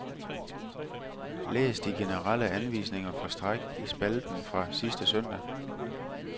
Læs de generelle anvisninger for stræk i spalten fra sidste søndag.